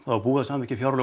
var búið að samþykkja fjárlög